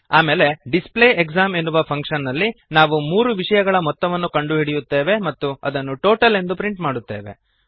ಆಮೇಲೆ display exam ಎನ್ನುವ function ನಲ್ಲಿ ನಾವು ಮೂರು ವಿಷಯಗಳ ಮೊತ್ತವನ್ನು ಕಂಡುಹಿಡಿಯುತ್ತೇವೆ ಮತ್ತು ಇದನ್ನು ಟೋಟಲ್ ಎಂದು ಪ್ರಿಂಟ್ ಮಾಡುತ್ತೇವೆ